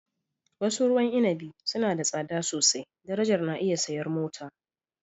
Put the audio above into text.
wasu ruwan inabi suna da tsada sosai darajar na iya siyan mota